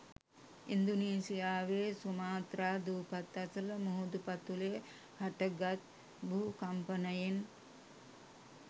ඉන්දුනීසියාවේ Sumatra දූපත් අසල මුහුදු පතුලේ හටගත් භූ කම්පනයෙන්